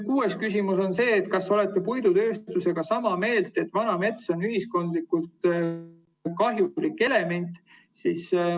Kuues küsimus: "Kas olete puidutööstusega sama meelt, et vana mets on ühiskondlikult kahjulik element ...